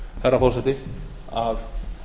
herra forseti að